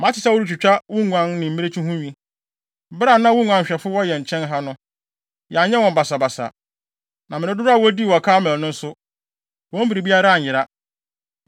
“Mate sɛ woretwitwa wo nguan ne mmirekyi ho nwi. Bere a na mo nguanhwɛfo wɔ yɛn nkyɛn ha no, yɛanyɛ wɔn basabasa. Na mmere dodow a wodii wɔ Karmel no nso, wɔn biribiara anyera.